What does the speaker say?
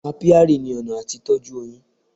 Apiary ni ọ̀nà àti tọ́jú oyin.